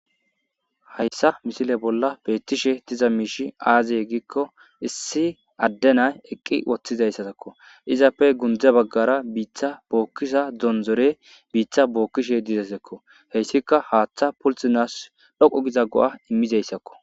Hayssa misile bolla beetishe diza miishshi aaze gizayssa gidikko issi adde na7ay eqqi uttidayssa bessees.izappe gundde baggara biitta bookkiza makinay biitta bookkishe dizayssakko. Hayssikka haatha pultisanaas dhoqqa go7a immizayssako.